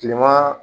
Kilema